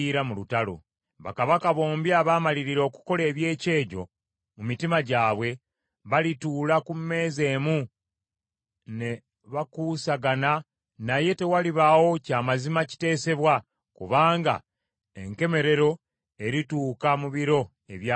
Bakabaka bombi abaamalirira okukola eby’ekyejo mu mitima gyabwe, balituula ku mmeeza emu, ne bakuusagana naye tewalibaawo kya mazima kiteesebwa kubanga enkomerero erituuka mu biro ebyalagirwa.